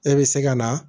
E bɛ se ka na